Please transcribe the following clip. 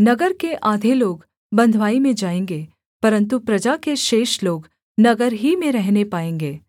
नगर के आधे लोग बँधुवाई में जाएँगे परन्तु प्रजा के शेष लोग नगर ही में रहने पाएँगे